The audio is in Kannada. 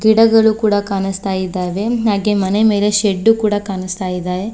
ಗಿಡಗಳು ಕೂಡ ಕಾಣಿಸ್ತಾ ಇದ್ದಾವೆ ಹಾಗೆ ಮನೆ ಮೇಲೆ ಶೆಡ್ಡು ಕೂಡ ಕಾಣಿಸ್ತಾ ಇದೆ.